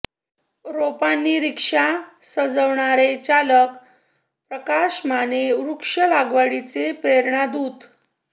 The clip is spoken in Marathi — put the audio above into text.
रोपांनी रिक्षा सजवणारे चालक प्रकाश माने वृक्ष लागवडीचे प्रेरणादूत